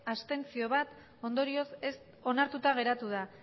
abstentzioak bat ondorioz onartuta geratu da